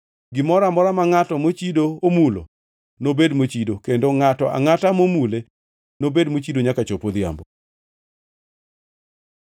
Gimoro amora ma ngʼat mochido omulo nobed mochido, kendo ngʼato angʼata momule nobed mochido nyaka chop odhiambo.”